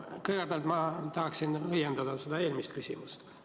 Kõigepealt ma tahaksin õiendada seda eelmist küsimust.